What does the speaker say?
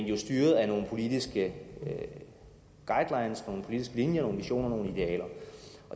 jo styret af nogle politiske guidelines nogle politiske linjer nogle visioner nogle idealer